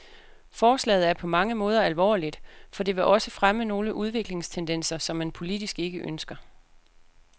Forslaget er på mange måder alvorligt, for det vil også fremme nogle udviklingstendenser, som man politisk ikke ønsker.